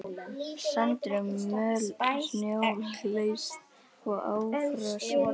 Sandur og möl snjólaust og ófrosið.